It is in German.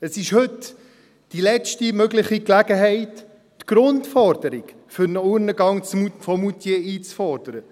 Es ist heute die letzte mögliche Gelegenheit, die Grundforderung für einen Urnengang in Moutier einzufordern.